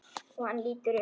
Og hann lítur upp.